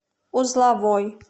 узловой